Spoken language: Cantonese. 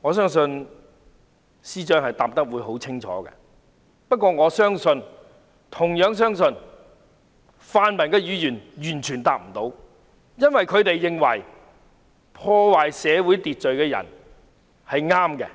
我相信司長會答得很清楚，但我同樣相信泛民議員完全答不上，因為他們認為破壞社會秩序的人是正確的，